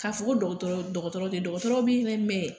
K'a fɔ ko dɔgɔtɔrɔ dɔgɔtɔrɔ te yen dɔgɔtɔrɔ be yen dɛ mɛn